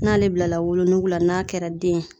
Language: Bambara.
N'ale bilala wolo nuku la n'a kɛla den ye.